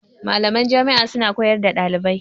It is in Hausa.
Malaman Jami' a suna koyar da ɗalibai